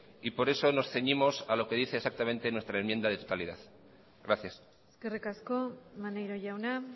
y por eso nos ceñimos a lo que dice exactamente nuestra enmienda de totalidad gracias eskerrik asko maneiro jauna